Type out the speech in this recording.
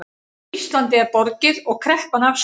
Íslandi er borgið og kreppan afstaðin